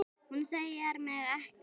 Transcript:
Hún sér mig ekki.